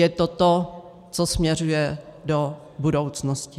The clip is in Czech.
Je to to, co směřuje do budoucnosti.